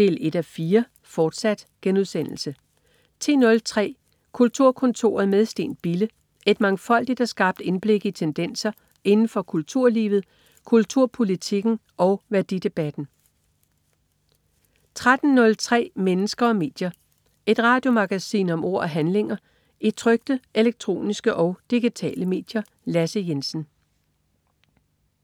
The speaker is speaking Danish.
1:4 - fortsat* 10.03 Kulturkontoret med Steen Bille. Et mangfoldigt og skarpt indblik i tendenser inden for kulturlivet, kulturpolitikken og værdidebatten 13.03 Mennesker og medier. Et radiomagasin om ord og handlinger i trykte, elektroniske og digitale medier. Lasse Jensen